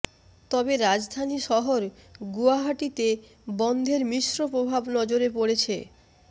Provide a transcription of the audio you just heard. তবে রাজধানী শহর গুয়াহাটিতে বনধের মিশ্র প্রভাব নজরে পড়েছে